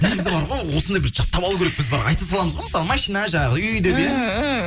негізі бар ғой осындай бір жаттап алу керекпіз бір айта саламыз ғой мысалы машина жаңағы үй деп иә